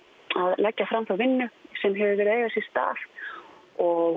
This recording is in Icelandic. leggja fram þá vinnu sem hefur verið að eiga sér stað og